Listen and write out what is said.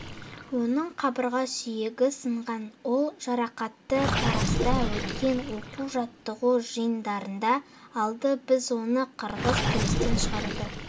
оның қабырға сүйегі сынған ол жарақатты таразда өткен оқу-жаттығу жиындарында алды біз оны қырғыз күреске шығаруды